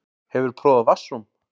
Hefurðu prófað vatnsrúm?